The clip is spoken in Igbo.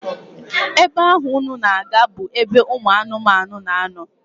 Ebe ahụ unu na-aga bụ ebe ụmụ anụmanụ na-anọ